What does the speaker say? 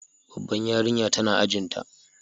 Babbar yarinya tana ajin ta.